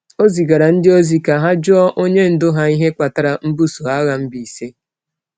O zigaara ndị ozi ka ha jụọ onye ndu ha ihe kpatara mbuso agha Mbaise.